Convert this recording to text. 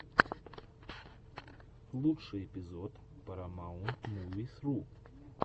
лучший эпизод парамаунтмувисру